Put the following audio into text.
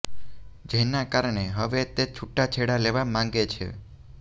જેના કારણે હવે તે છુટા છેડા લેવા માંગે છે